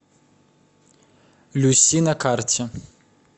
люси на карте